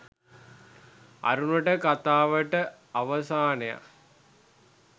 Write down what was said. අරුණට කතාවට අවසානයක්